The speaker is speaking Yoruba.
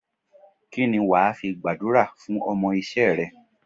Kíni wàá fi gbàdúrà fún ọmọ isé re?